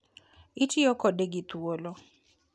Itiyo kode gi thuolo.